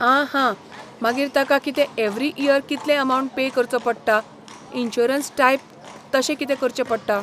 आं हां, मागीर ताका कितें एवरी इयर कितले अमावंट पे करचो पडटा, इन्शुरंस टायप तशें कितें करचें पडटा